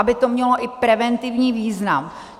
Aby to mělo i preventivní význam.